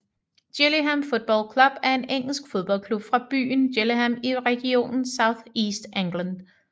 Gillingham Football Club er en engelsk fodboldklub fra byen Gillingham i regionen South East England